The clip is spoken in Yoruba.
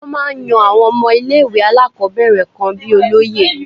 Wọ́n máa ń yan àwọn ọmọ ilé ìwé alákọ̀ọ́bẹ̀rẹ̀ kan bíi olóye.